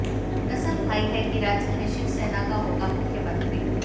कसम खाई है कि राज्य में शिवसेना का होगा मुख्यमंत्री